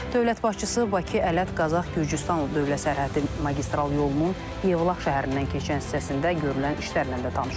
Dövlət başçısı Bakı, Ələt, Qazax, Gürcüstan Dövlət Sərhədi magistral yolunun Yevlax şəhərindən keçən hissəsində görülən işlərlə də tanış olub.